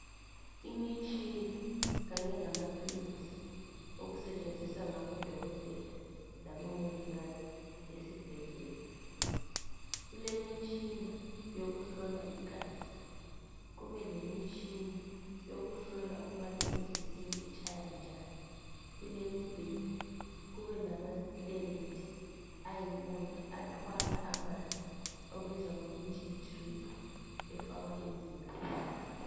Imitshina kanye lamathuluzi okusetshenziswa ngabodokotela labomongikazi esibhedlela. Kule lemitshina wokuhlola igazi kube lemitshina yokuhlola ukubana inhliziyo itshaya njani, kulemibheda kube lamastendi ayiwona athwala amanzi okubizwa ngokuthi yidiriphi efakwa emzimbeni.